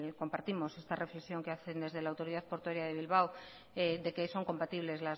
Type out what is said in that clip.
compartimos esta reflexión que hacen desde la autoridad portuaria de bilbao de que son compatibles